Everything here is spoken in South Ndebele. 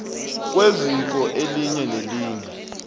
kweziko elinye nelinye